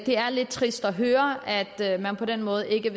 er lidt trist at høre at at man på den måde ikke